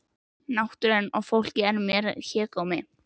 Náttúran og fólkið er mér hégómi.